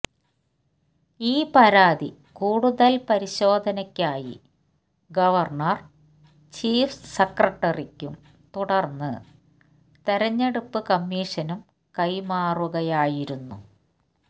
ഈ പരാതി കൂടുതൽ പരിശോധനയ്ക്കായി ഗവർണർ ചീഫ് സെക്രട്ടറിക്കും തുടർന്ന് തെരഞ്ഞെടുപ്പ് കമ്മീഷനും കൈമാറുകയായിരുന്നു